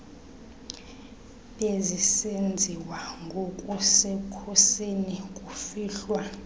bezisenziwa ngokusekhusini kufihlwa